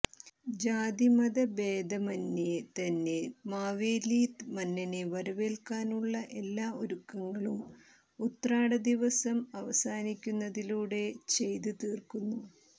ജാതി മതഭേദമന്യേ തന്നെ മാവേലി മന്നനെ വരവേല്ക്കാനുള്ള എല്ലാ ഒരുക്കങ്ങളും ഉത്രാട ദിവസം അവസാനിക്കുന്നതിലൂടെ ചെയ്ത് തീര്ക്കുന്നു